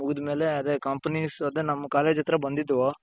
ಮುಗಿದಮೇಲೆ ಅದೇ companies ಅದೇ ನಮ್ college ಹತ್ರ ಬಂದಿದ್ವು.